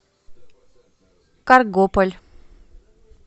каргополь